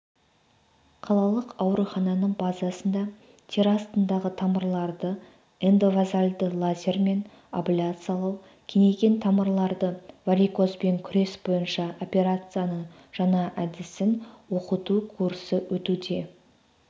қалалық аурухананың базасында тері астындағы тамырларды эндовазальді лазермен абляциялау кеңейген тамырларды варикозбен күрес бойынша операцияның жаңа әдісін оқыту курсы өтуде